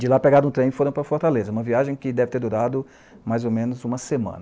De lá pegaram um trem e foram para Fortaleza, uma viagem que deve ter durado mais ou menos uma semana.